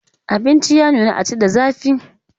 Abinci ya nuna a ci da zafi.